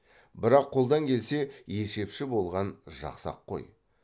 бірақ қолдан келсе есепші болған жақсы ақ қой